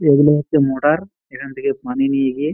এগুলো হচ্ছে মোরার এখান থেকে পানি নিয়ে গিয়ে--